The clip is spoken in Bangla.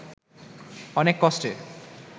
অনেক কষ্টে